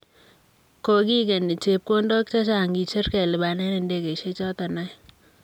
Kogigeni chepkondok chechang kicher kelipanen ndegeisiek choton oeng'.